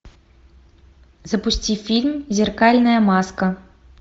запусти фильм зеркальная маска